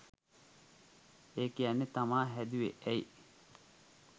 ඒක කියන්න තමා හැදුෙව් ඇයි?